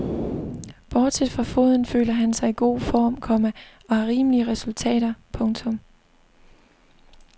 Bortset fra foden føler han sig i god form, komma og har rimelige resultater. punktum